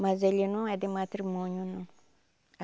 Mas ele não é de matrimônio, não.